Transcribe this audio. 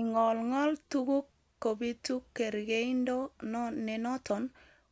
Ingingolngol tuguk kobitu kergeindo nenoton